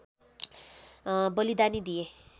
बलिदानी दिए